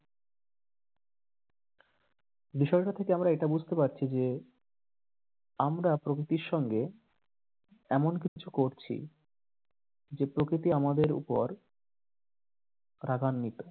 বিষয়টা থেকে আমরা এটা বুঝতে পারছি যে আমরা প্রকৃতির সঙ্গে এমন কিছু করছি যে প্রকৃতি আমাদের ওপর রাগান্নিত।